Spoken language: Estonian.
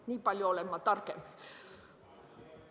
Nii palju olen ma targem.